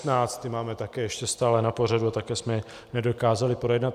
Ty máme také ještě stále na pořadu a také jsme je nedokázali projednat.